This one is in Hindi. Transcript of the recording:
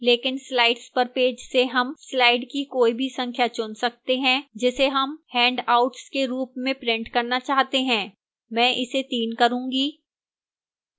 लेकिन slides per page से हम slides की कोई भी संख्या चुन सकते हैं जिसे हम handouts के रूप में print करना चाहते हैं मैं इसे 3 करूंगी